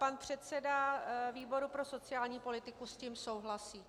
Pan předseda výboru pro sociální politiku s tím souhlasí.